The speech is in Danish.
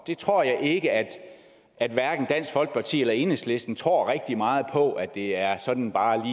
jeg tror at at hverken dansk folkeparti eller enhedslisten tror rigtig meget på at det er sådan bare